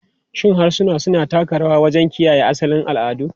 Shin harsuna suna taka rawa wajen kiyaye asalin al'adu?